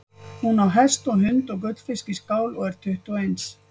Hún á hest og hund og gullfisk í skál og er tuttugu og eins.